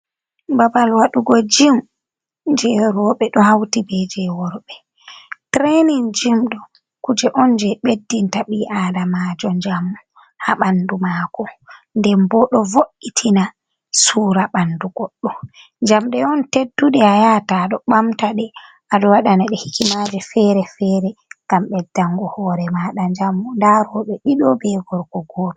Babal waɗugo jim je roɓe ɗo hauti be je worɓe. Tirenin jim ɗo kuje'on je Ɓeddinta ɓi Adamajo njamu ha ɓandu mako. Nden bo ɗo vo’itina Sura ɓandu Godɗo. Jamɗe'on tedduɗe ayahata aɗo ɓamta ɗe, aɗo waɗana ɗe hikimaje fere -fere ngam Ɓeddango hore maɗa njamu. Nda roɓe ɗiɗo be gorko Goto.